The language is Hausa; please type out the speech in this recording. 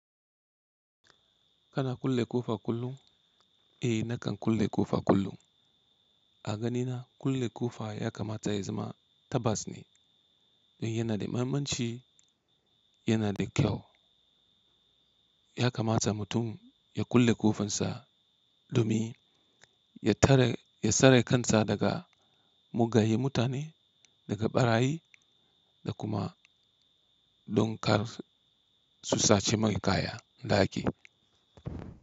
Kana kulle ƙofa kullum? Eh nakan kulle ƙofa kullum. A ganina kulle ƙofa ya kamata ya zama tabas ne don yana da mahimmanci, yana da kyau. Ya kamata mutum ya kulle ƙofansa, ɗomin, ya tsare kan sa daga mugaye mutane, daga ɓarayi da kuma don kar su sace mai kaya na ɗaki.